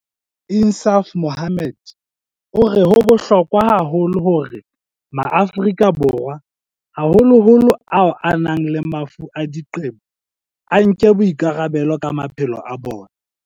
Insaaf Mohammed o re ho bohlokwa haholo hore Maafrika Borwa, haholoholo ao a nang le mafu a diqebo, a nke boikarabelo ka maphelo a bona.